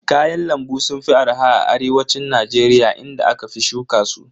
Kayan lambu sun fi arha a arewacin Najeriya inda aka fi shuka su.